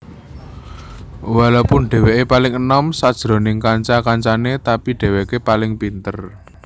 Walopun dheweke paling enom sajroning kanca kancane tapi dheweke paling pinter